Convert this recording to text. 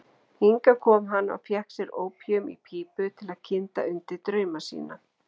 Hingað kom hann og fékk sér ópíum í pípu til að kynda undir drauma sína.